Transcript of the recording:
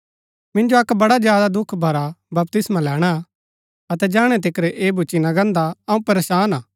मिन्जो अक्क बड़ा ज्यादा दुख भरा बपतिस्मा लैणा हा अतै जैहणै तिकर ऐह भुच्‍ची ना गान्दा अऊँ परेशान हा